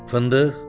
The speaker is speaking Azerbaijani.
Fındıq?